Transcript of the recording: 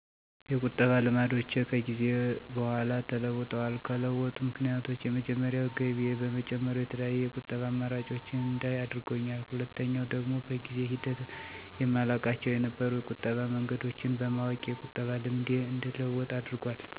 የቁጠባ ልማዶቼ ከጊዜ በኋላ ተለውጠዋል። ከለወጡት ምክንያቶች የመጀመሪያው ገቢዬ በመጨመሩ የተለያዩ የቁጠባ አማራጮችን እንዳይ አድርጎኛል፤ ሁለተኛው ደግሞ በጊዜ ሂደት የማላውቃቸው የነበሩ የቁጠባ መንገዶችን በማወቄ የቁጠባ ልምዴ እንደለወጥ አድርጓል።